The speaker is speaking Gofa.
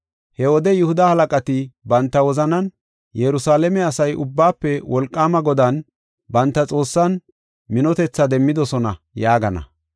He wode Yihuda halaqati banta wozanan, “Yerusalaame asay Ubbaafe Wolqaama Godan, banta Xoossan, minotethaa demmidosona” yaagana.